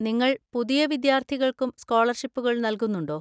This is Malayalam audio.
നിങ്ങൾ പുതിയ വിദ്യാർത്ഥികൾക്കും സ്കോളർഷിപ്പുകൾ നൽകുന്നുണ്ടോ?